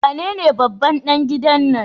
Wanene babban ɗan gidan nan?